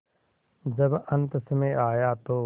जब अन्तसमय आया तो